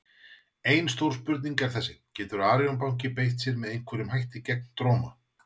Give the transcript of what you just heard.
En stóra spurningin er þessi: Getur Arion banki beitt sér með einhverjum hætti gegn Dróma?